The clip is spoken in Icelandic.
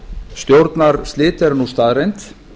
stjórnarslit eru nú staðreynd